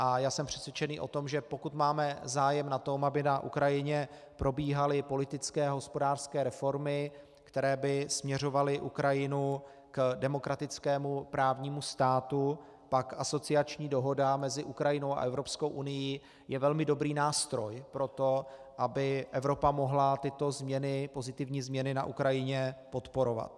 A já jsem přesvědčený o tom, že pokud máme zájem na tom, aby na Ukrajině probíhaly politické a hospodářské reformy, které by směřovaly Ukrajinu k demokratickému právnímu státu, pak asociační dohoda mezi Ukrajinou a Evropskou unií je velmi dobrý nástroj pro to, aby Evropa mohla tyto pozitivní změny na Ukrajině podporovat.